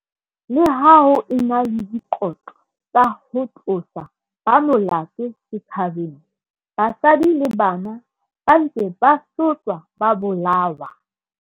Leha ho e na le dikotlo tsa ho tlosa ba molato setjhabeng, basadi le bana ba ntse ba sotlwa ba bolawa.